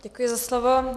Děkuji za slovo.